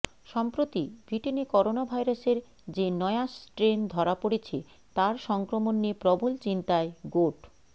সম্প্রতি ব্রিটেনে করোনা ভাইরাসের যে নয়া স্ট্রেন ধরা পড়েছে তার সংক্রমণ নিয়ে প্রবল চিন্তায় গোট